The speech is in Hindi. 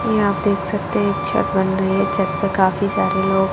यहां आप देख सकते हैं एक छत बन रही है छत पे काफी सारे लोग--